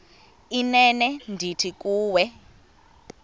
inene ndithi kuwe